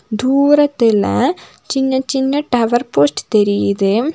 தூரத்தில சின்ன சின்ன டவர் போஸ்ட் தெரியுது.